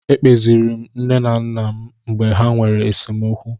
Ekpeziiri m nne m na nna m mgbe ha nwere esemokwu.